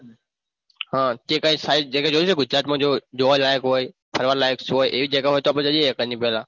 આહ તે કઈ ખાસ જગહ જોઈ છે ગુજરાતમાં જો જોવા લાયક હોય ફરવા લાયક છે એ જગહ તો આપણે જઈએ